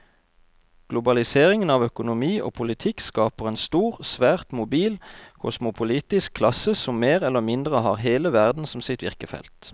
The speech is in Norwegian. Globaliseringen av økonomi og politikk skaper en stor, svært mobil kosmopolitisk klasse som mer eller mindre har hele verden som sitt virkefelt.